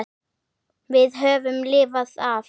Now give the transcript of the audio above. Við höfum lifað af.